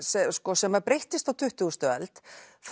sem að breyttist á tuttugustu öld